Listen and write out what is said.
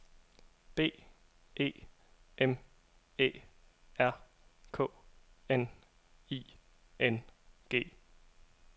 B E M Æ R K N I N G